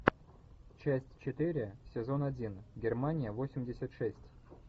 часть четыре сезон один германия восемьдесят шесть